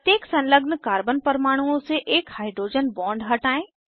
प्रत्येक संलग्न कार्बन परमाणुओं से एक हाइड्रोजन बॉन्ड हटायें